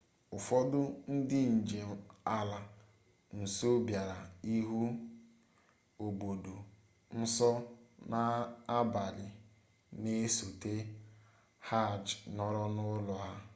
ụfọdụ ndị njem ala nsọ bịara ịhụ obodo nsọ n'abalị na-esote hajj nọrọ n'ụlọ a